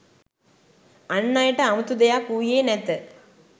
අන් අයට අමුතු දෙයක් වූයේ නැත